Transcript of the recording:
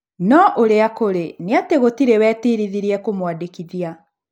No ũrĩa kũrĩ nĩ atĩ gũtĩrĩ wetirithirie kũmũandĩkĩthia